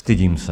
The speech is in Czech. Stydím se.